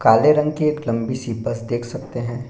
काले रंग की एक लंबी सी बस देख सकते है।